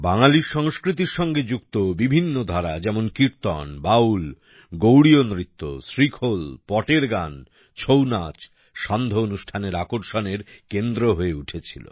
বাঙালির সংস্কৃতির সঙ্গে যুক্ত বিভিন্ন ধারা যেমন কীর্তন বাউল গৌড়ীয়ন নৃত্য শ্রীখোল পটের গান ছৌ নাচ সান্ধ্য অনুষ্ঠানের আকর্ষণের কেন্দ্র হয়ে উঠেছিল